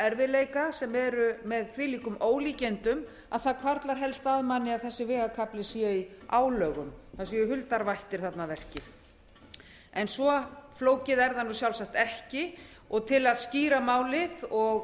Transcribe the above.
erfiðleika sem eru með þvílíkum ólíkindum að það hvarflar helst að manni að þessi vegakafli sé í álögum það séu huldar vættir þarna að verki svo flókið er það sjálfsagt ekki og til að skýra málið og